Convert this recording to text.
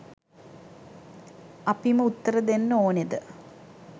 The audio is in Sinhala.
අපිම උත්තර දෙන්න ඕනෙද?